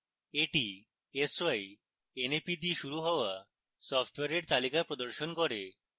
এটি s y n a p দিয়ে শুরু হওয়া সফ্টওয়্যারের তালিকা প্রদর্শন করবে